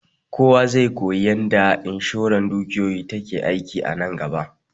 Kowa zai koyi yanda inshoran dukiyoyi take aiki a nan gaba